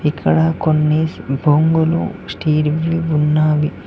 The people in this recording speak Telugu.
ఇక్కడ కొన్ని బొంగులు స్టీల్ వి ఉన్నావి.